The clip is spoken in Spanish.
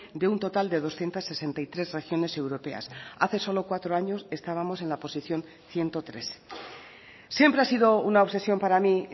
de un total de doscientos sesenta y tres regiones europeas hace solo cuatro años estábamos en la posición ciento tres siempre ha sido una obsesión para mí